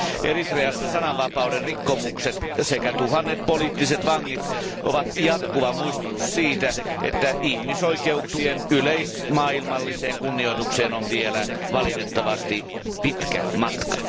Eritreassa sananvapauden rikkomukset sekä tuhannet poliittiset vangit ovat jatkuva muistutus siitä, että ihmisoikeuksien yleismaailmalliseen kunnioitukseen on vielä valitettavasti pitkä matka.